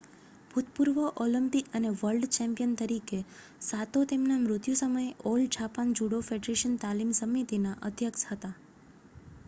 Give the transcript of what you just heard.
ભૂતપૂર્વ ઓલિમ્પિક અને world champion તરીકે સાતો તેમના મૃત્યુ સમયે ઓલ જાપાન જુડો ફેડરેશન તાલીમ સમિતિના અધ્યક્ષ હતા